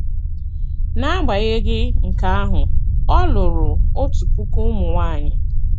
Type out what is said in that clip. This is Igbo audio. N’agbanyeghị nke ahụ, ọ lụrụ otu puku ụmụ nwanyị.